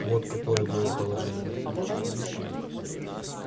вот какое было положение